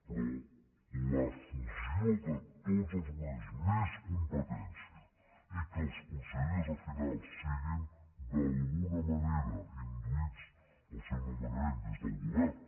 però la fusió de tots els organismes més competència i que els consellers al final siguin d’alguna manera induïts en el seu no·menament des del govern